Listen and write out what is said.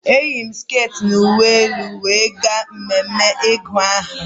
Eyiri m sket na uwe elu were gaa mmeme ịgụ aha